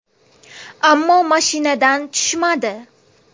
Ammo mashinadan tushmadi.